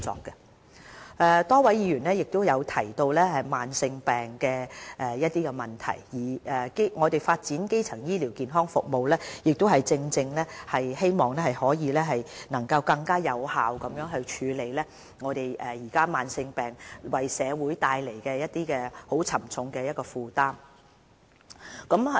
剛才有多位議員曾提及慢性病的問題，我們發展基層醫療健康服務，亦正正希望可以能更有效地處理目前慢性病為社會帶來的沉重負擔。